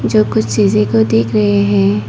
जो कुछ चीज़ें को देख रहे हैं।